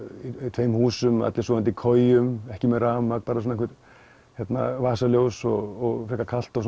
tveimur húsum allir sofandi í kojum ekki með rafmagn bara vasaljós og frekar kalt og